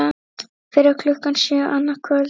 Fyrir klukkan sjö annað kvöld